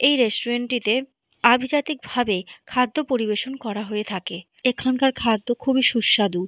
এই রেস্টুরেন্ট টিতে অভিজাতিক ভাবে খাদ্য পরিবেশন করা হয়। এখানকার খাদ্য খুবই সুস্বাদু।